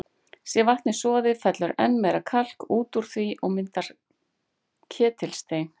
Sé vatnið soðið, fellur enn meira kalk út úr því og myndar ketilstein.